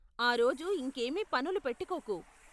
ఆ రోజు ఇంకేమీ పనులు పెట్టుకోకు.